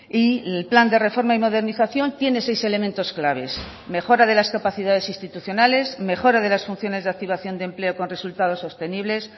y el plan de reforma y modernización tiene seis elementos claves mejora de las capacidades institucionales mejora de las funciones de activación de empleo con resultados sostenibles